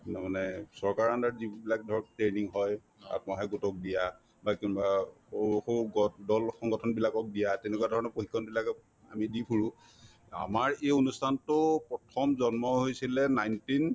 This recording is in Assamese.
মই মানে চৰকাৰৰ under ত যিবিলাক ধৰক training হয় আত্মসহায়ক গোটক দিয়া বা কোনোবা দল-সংগঠন বিলাকক দিয়া তেনেকুৱা ধৰণৰ প্ৰশিক্ষণবিলাকক আমি দি ফুৰো আমাৰ এই অনুষ্ঠানতো প্ৰথম জন্ম হৈছিলে nineteen